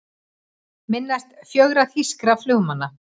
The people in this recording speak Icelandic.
Minnast fjögurra þýskra flugmanna